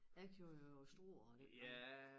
Jeg kørte jo over Struer og den vej